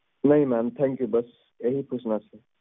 ਨਹੀਂ ma'amthankyou ਬੱਸ ਹੀ ਪੁੱਛਣਾ ਸੀ